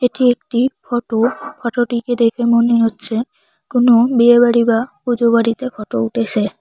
এটি একটি ফটো ফটোটিকে টিকে দেখে মনে হচ্ছে কোনো বিয়েবাড়ি বা পুজো বাড়িতে ফটো উঠেছে।